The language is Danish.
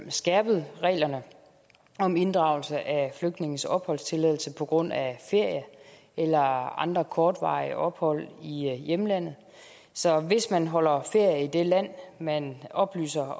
skærpet reglerne om inddragelse af flygtninges opholdstilladelse på grund af ferie eller andre kortvarige ophold i hjemlandet så hvis man holder ferie i det land man oplyser